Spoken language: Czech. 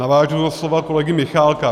Navážu na slova kolegy Michálka.